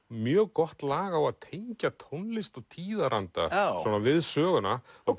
mjög gott lag á að tengja tónlist og tíðaranda við söguna og